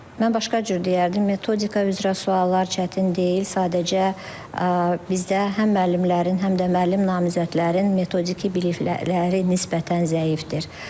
Mən başqa cür deyərdim, metodika üzrə suallar çətin deyil, sadəcə bizdə həm müəllimlərin, həm də müəllim namizədlərin metodiki bilikləri nisbətən zəifdir.